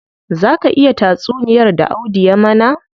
Zaa ka iya tuna tatsuniyar da Audu ya mana?